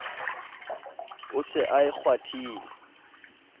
o se a e kgwathile